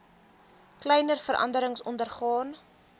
kleiner veranderings ondergaan